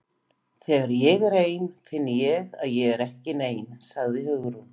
Þegar ég er ein finn ég að ég er ekki nein- sagði Hugrún.